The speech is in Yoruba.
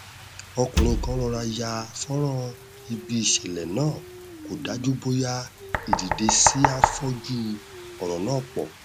ọkùnrin kan rọra ya fọnrán ibi ìṣẹlẹ náà kó dájú bóyá ìdìdesí á fọ ojú ọrọ náà pọ